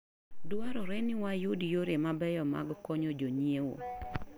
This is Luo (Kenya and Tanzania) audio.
Dwarore ni wayud yore mabeyo mag konyo jonyiewo.